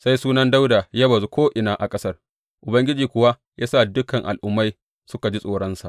Sai sunan Dawuda ya bazu ko’ina a ƙasar, Ubangiji kuwa ya sa dukan al’ummai suka ji tsoronsa.